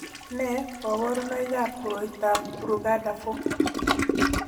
Nee kabarunoikab koroitoab Brugada 4?